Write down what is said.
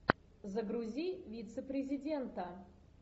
загрузи вицепрезидента